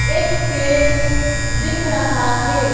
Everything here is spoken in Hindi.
एक पेड़ दिख रहा है।